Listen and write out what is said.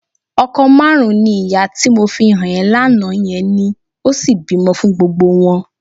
Ọkọ márùn-ún ni ìyá tí mo fi hàn ẹ́ lánàá yẹn ní, ó sì bímọ fún gbogbo wọn.